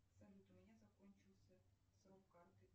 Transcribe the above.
салют у меня закончился срок карты